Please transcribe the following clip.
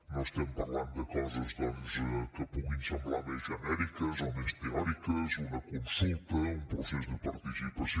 no estem parlant de coses doncs que puguin semblar més genèriques o més teòriques una consulta un procés de participació